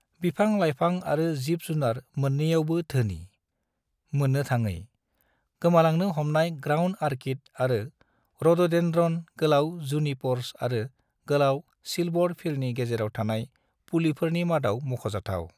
बिफां-लाइफां आरो जिब-जुनार मोननैयावबो धोनि, मोननोथाङै, गोमालांनो हमनाय ग्राउंड ऑर्किड आरो रोडोडेंड्रोन गोलाव जुनिपर्स आरो गोलाव सिल्वर फ़िरनि गेजेराव थानाय फुलिफोरनि मादाव मख'जाथाव।